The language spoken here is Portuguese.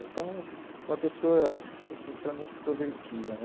Então, uma pessoa assim extremamente extrovertida, né?